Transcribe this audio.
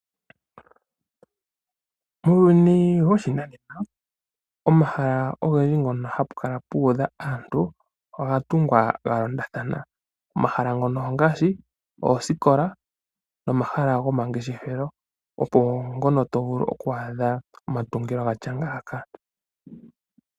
Uuyuni woshinanena pomahala mpono hapu kala puudha aantu ogatungwa galondathana ngaashi oosikola nomahala gomangeshefelo opo mpono twaadha omatungilo gatya ngaaka.